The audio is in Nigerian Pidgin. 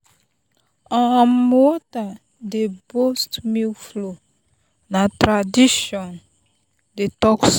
um water dey boost milk flow na tradition dey talk so.